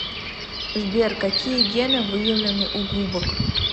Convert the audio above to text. сбер какие гены выявлены у губок